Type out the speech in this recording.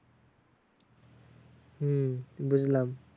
হম বুঝলাম।